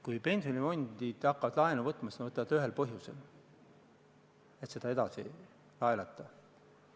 Kui pensionifondid hakkavad laenu võtma, siis nad võtavad seda ühel põhjusel: et seda edasi laenata.